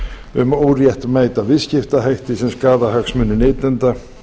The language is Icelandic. um óréttmæta viðskiptahætti sem skaða hagsmuni neytenda